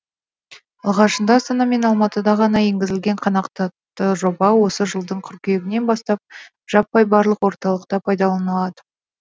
алғашында астана мен алматыда ғана енгізілген қанатқақты жоба осы жылдың қыркүйегінен бастап жаппай барлық орталықта пайдаланылады